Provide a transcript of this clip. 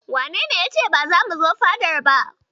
Wanene ya ce ba zamu zo fadar ba?